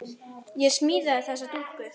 Ég smíðaði þessa dúkku.